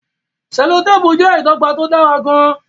selotepu jẹ́ ìdọ́gba tó dára gan-an.